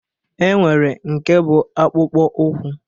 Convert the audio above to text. E nwere nke bụ akpụkpọ ụkwụ